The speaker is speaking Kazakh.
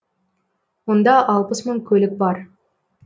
онда алпыс мың көлік бар